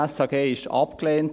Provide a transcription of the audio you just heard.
Dieses SHG wurde abgelehnt.